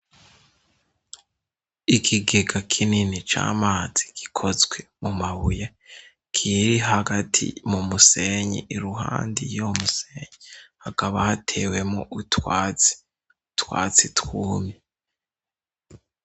Ikigega kinini c'amazi gikozwe ku mabuye, kiri hagati mu musenyi, i ruhande y'uwo musenyi hakaba hatewemo utwatsi, utwatsi twumye.